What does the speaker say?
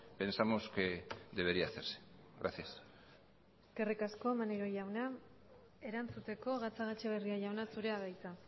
pensamos que debería hacerse gracias eskerrik asko maneiro jauna erantzuteko gatzagaetxebarria jauna zurea da hitza